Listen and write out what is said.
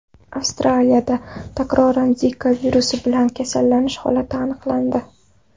Avstraliyada takroran Zika virusi bilan kasallanish holati aniqlandi.